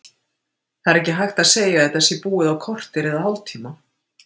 Það er ekki hægt að segja að þetta sé búið á korteri eða hálftíma.